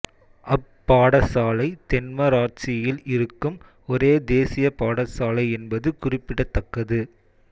அப் பாடசாலை தென்மராட்சியில் இருக்கும் ஒரே தேசிய பாடசாலை என்பது குறிப்பிடத்தக்கது